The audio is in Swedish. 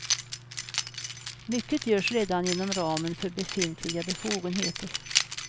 Mycket görs redan inom ramen för befintliga befogenheter.